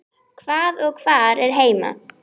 Hvað og hvar er heima?